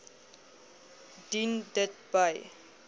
dien dit by